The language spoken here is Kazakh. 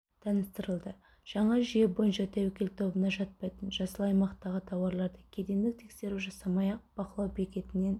таныстырылды жаңа жүйе бойынша тәуекел тобына жатпайтын жасыл аймақтағы тауарларды кедендік тексеру жасамай-ақ бақылау бекетінен